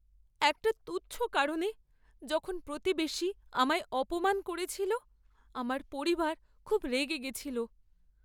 একটা তুচ্ছ কারণে যখন প্রতিবেশী আমায় অপমান করেছিল আমার পরিবার খুব রেগে গেছিল!